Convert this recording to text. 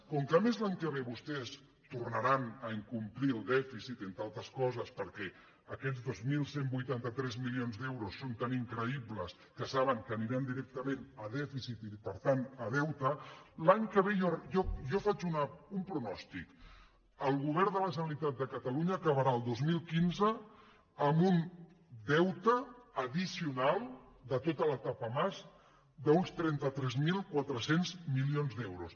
com que a més l’any que ve vos·tès tornaran a incomplir el dèficit entre altres coses perquè aquests dos mil cent i vuitanta tres milions d’euros són tan increï·bles que saben que aniran directament a dèficit i per tant a deute per a l’any que ve jo faig un pronòstic el govern de la generalitat de catalunya acabarà el dos mil quinze amb un deute addicional de tota l’etapa mas d’uns trenta tres mil quatre cents milions d’euros